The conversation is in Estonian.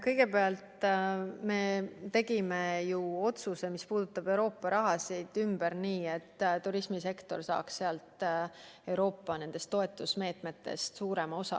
Kõigepealt, me tegime ju otsuse, mis puudutab Euroopa raha, ümber nii, et turismisektor saaks nendest Euroopa toetusmeetmetest suurema osa.